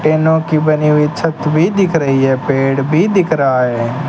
टीनो की बनी हुई छत भी दिख रही है पेड़ भी दिख रहा है।